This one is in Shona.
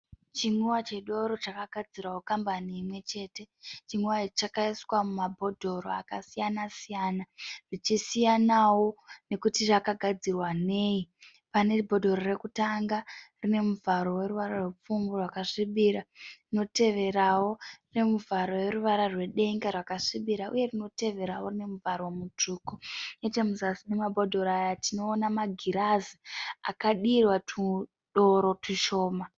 Chinwiwa chedoro chakagadzirwa kukambani imwe chete. Chinwiwa ichi chakaiswa mumabhodhoro akasiyana- siyana zvichisiyanawo nekuti rakagadzirwa nei. Pane bhodhoro rekutanga rine muvharo weruvara rwepfumbu rwakasvibira, rinoteverawo rine muvharo weruvara rwedenga rwakasvibira uye rinoteverawo rine muvharo mutsvuku. Nechemuzasi memabhodhoro aya tinoona magirazi akadirwa tudoro tushoma.